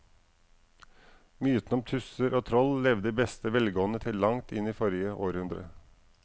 Mytene om tusser og troll levde i beste velgående til langt inn i forrige århundre.